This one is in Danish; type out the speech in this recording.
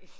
nej